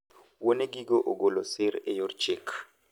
Wuone gigo ogolo sir e yor chik.